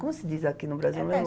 Como se diz aqui no Brasi, mesmo?